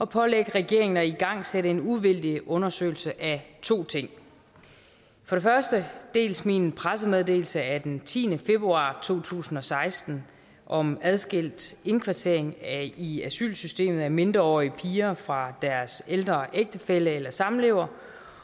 pålægge regeringen at igangsætte en uvildig undersøgelse af to ting for det første dels min pressemeddelelse af den tiende februar to tusind og seksten om adskilt indkvartering i i asylsystemet af mindreårige piger fra deres ældre ægtefælle eller samlever